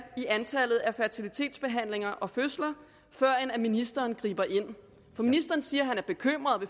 i antallet af fertilitetsbehandlinger og fødsler før ministeren griber ind for ministeren siger at han er bekymret og